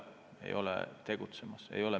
Meie järelevalve all midagi sellist ei ole.